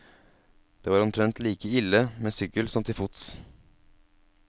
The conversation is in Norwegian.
Det var omtrent like ille med sykkel som til fots.